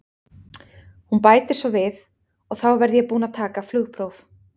Hún bætir svo við: og þá verð ég búin að taka flugpróf.